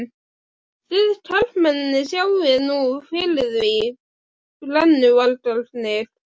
Þið karlmennirnir sjáið nú fyrir því. brennuvargarnir.